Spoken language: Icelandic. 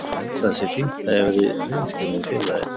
Ég held að það sé fínt að ég hafi verið hreinskilinn við félagið.